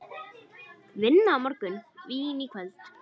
Vinna á morgun, vín í kvöld.